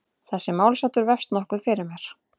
Þessi málsháttur vefst nokkuð fyrir mér.